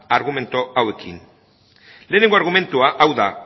argumentu hauekin lehenengo argumentua hau da